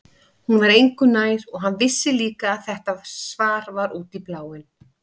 Hún var engu nær og hann vissi líka að þetta svar var út í bláinn.